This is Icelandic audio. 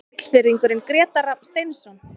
Siglfirðingurinn Grétar Rafn Steinsson